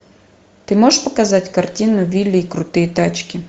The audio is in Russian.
ты можешь показать картину вилли и крутые тачки